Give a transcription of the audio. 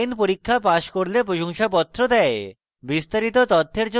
online পরীক্ষা pass করলে প্রশংসাপত্র দেয়